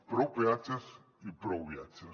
prou peatges i prou viatges